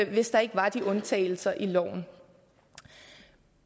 hvis der ikke var de undtagelser i loven